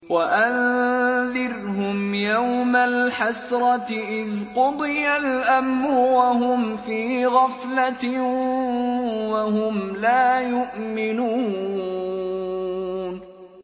وَأَنذِرْهُمْ يَوْمَ الْحَسْرَةِ إِذْ قُضِيَ الْأَمْرُ وَهُمْ فِي غَفْلَةٍ وَهُمْ لَا يُؤْمِنُونَ